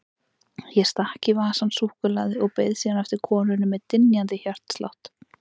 Ég stakk í vasann súkkulaði og beið síðan eftir konunni með dynjandi hjartslátt.